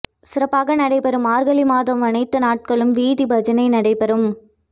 சிறப்பாக நடைபெறும் மார்கழி மாதம் அனைத்து நாட்களும் வீதி பஜனை நடைபெறும்